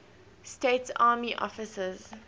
states army officers